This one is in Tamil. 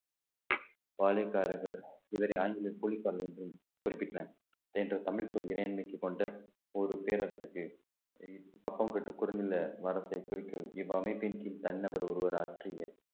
பாளையக்காரர்கள் இதனை ஆங்கிலத்தில் குறிப்பிட்டனர் என்ற தமிழ்ச்சொல் இறையாண்மைக்கு கொண்ட ஒரு பேரரசுக்கு கப்பம் கட்டு குறுநில மரத்தை குறிக்கும் இவ்வமைப்பின் கீழ் தனிநபர் ஒருவர் ஆற்றிய